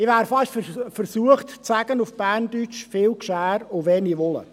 Ich wäre fast versucht auf Berndeutsch zu sagen: «viu Gschär u weni Wulle».